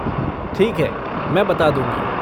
ठीक है, मैं बता दूँगी।